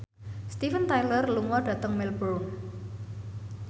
Steven Tyler lunga dhateng Melbourne